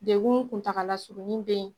Degun kuntaala surunin bɛ yen.